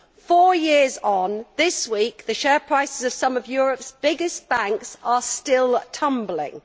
Four years on, this week the share prices of some of Europe's biggest banks are still tumbling.